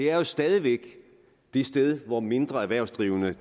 er jo stadig væk det sted hvor mindre erhvervsdrivende